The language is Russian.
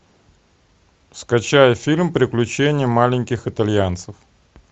скачай фильм приключения маленьких итальянцев